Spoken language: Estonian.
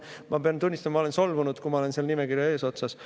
Ma pean tunnistama, et ma olen solvunud, kui ma olen selle nimekirja eesotsas.